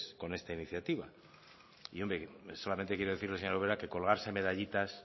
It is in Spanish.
con esta iniciativa y yo solamente quiero decirle señora ubera que colgarse medallitas